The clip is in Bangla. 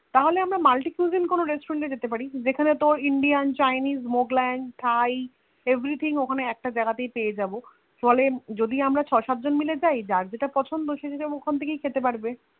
তাহলে আমরা Multi cuisine restaurants এ যেতে পারি যেখানে তোর Indian chinese mughlain thai everything ওখানে একটা জায়গা তাই পেয়ে যাবো ফলে যদি আমরা ছ সাত তা যার যেটা পছন্দ সে সেটা ওখান থেকেই খেতে পারবে